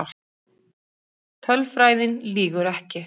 Tölfræðin lýgur ekki.